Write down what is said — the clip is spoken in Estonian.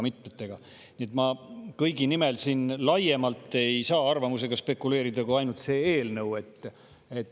Nii et ma kõigi nimel ei saa siin arvamusega spekuleerida laiemalt kui ainult selle eelnõu kohta.